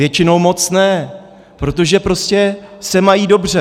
Většinou moc ne, protože prostě se mají dobře.